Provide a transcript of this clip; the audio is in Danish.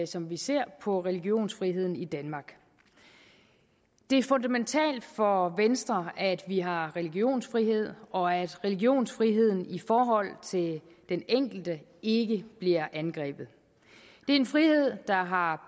som vi ser på religionsfriheden i danmark det er fundamentalt for venstre at vi har religionsfrihed og at religionsfriheden i forhold til den enkelte ikke bliver angrebet det er en frihed der har